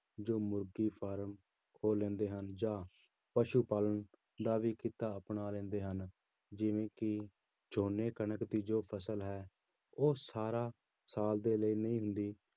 ਜੋ ਮੁਰਗੀ ਪਾਲਣ ਖੋਲ ਲੈਂਦੇ ਹਨ ਜਾਂ ਪਸੂ ਪਾਲਣ ਦਾ ਵੀ ਕਿੱਤਾ ਅਪਣਾ ਲੈਂਦੇ ਹਨ, ਜਿਵੇਂ ਕਿ ਝੋਨੇ ਕਣਕ ਦੀ ਜੋ ਫ਼ਸਲ ਹੈ, ਉਹ ਸਾਰਾ ਸਾਲ ਦੇ ਲਈ ਨਹੀਂ ਹੁੰਦੀ,